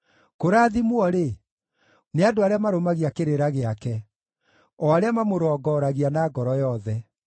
Kũrathimwo-rĩ, nĩ andũ arĩa marũmagia kĩrĩra gĩake, o arĩa mamũrongoragia na ngoro yothe.